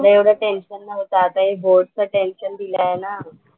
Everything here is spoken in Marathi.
एवढं एवढं टेन्शन नव्हतं. आता हे बोर्डचं टेन्शन दिलंय ना.